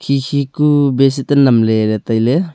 khi khi ku bashit ae nam ley ley tailey.